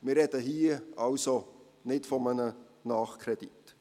Wir sprechen hier also nicht von einem Nachkredit.